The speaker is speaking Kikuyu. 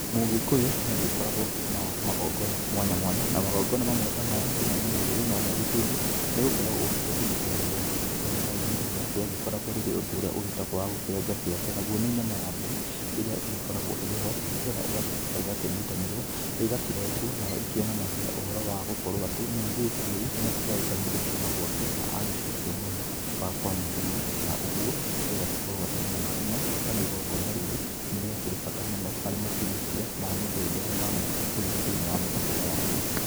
Mũgĩkũyũ nĩ agĩkoragwo na magongona mwanya mwanya na magongona mamwe ta maya nginya ũmũthĩ no magĩtũire, nĩ gũkorwo ũndũire ndũgĩteyagwo, igongona ta rĩrĩ rĩmwe rĩagĩkoragwo rĩagĩkoragwo ũndũ ũrĩa ũgĩtagwo wa gũkĩrenga kĩande na guo nĩ nyama ya mbũri, ĩrĩa ĩgĩkoragwo ĩrĩ ho nĩgetha ĩgagĩcoka ĩgakĩnyitanĩrwo, ĩgakĩrengwo nayo ĩkĩonanagia ũhoro wa gũkorwo atĩ mũirĩtu rĩu nĩ akĩgayũkanio gũkiuma gwake na agĩcokio mwena wa kwa mũthuri, na ũguo ĩgagĩkorwo atĩ nyama ĩno kana igongona rĩrĩ nĩ rĩakĩrĩ bata mũno harĩ makinyũkia ma mũgendere wa mũgĩkũyũ thĩ-inĩ wa mũtũrĩre wake.